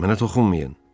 Mənə toxunmayın.